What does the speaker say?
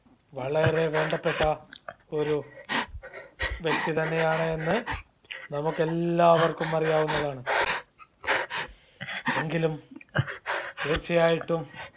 വളരെ വേണ്ടപ്പെട്ട ഒരു വ്യക്തിതന്നെയാണ് എന്ന് നമുക്കെല്ലാവർക്കും അറിയാവുന്നതാണ്. എങ്കിലും തീർച്ചയായിട്ടും